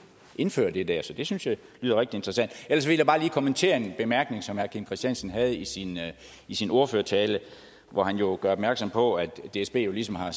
indføre det der så det synes jeg lyder rigtig interessant ellers vil jeg bare lige kommentere en bemærkning som herre kim christiansen havde i sin i sin ordførertale hvor han jo gjorde opmærksom på at dsb ligesom har